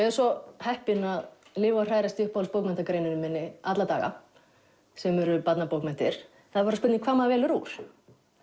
er svo heppin að lifa og hrærast í uppáhaldsbókmenntagreininni minni alla daga sem eru barnabókmenntir það er bara spurning hvað maður velur úr